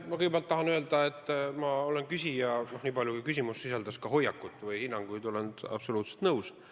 Ma kõigepealt tahan öelda, et olen küsijaga, niipalju kui küsimus sisaldas ka hoiakut või hinnanguid, absoluutselt nõus.